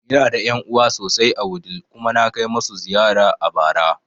Ina da ƴan'uwa sosai a Wudil kuma na kai masu ziyara a bara